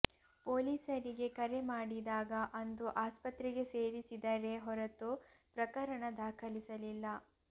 ಪೊಲೀಸರಿಗೆ ಕರೆ ಮಾಡಿದಾಗ ಅಂದು ಆಸ್ಪತ್ರೆಗೆ ಸೇರಿಸಿದರೇ ಹೊರತು ಪ್ರಕರಣ ದಾಖಲಿಸಲಿಲ್ಲ